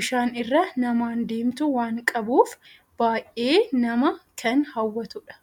bishaan irra namaan deemtu waan qabuuf baayyee nama kan hawwatudha.